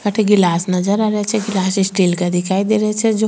अठे गिलास नजर आ रहे छे गिलास स्टील का नजर आ रही छे जो --